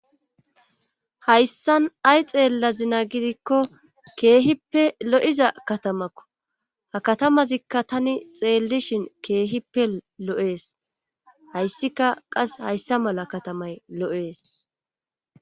hayssan ay xeella zina gidikko keehippe lo7iza katamakko ha katamazikka tani xeellishin keehippe lo7ees hayssika qas hayssa mala katamay lo7ees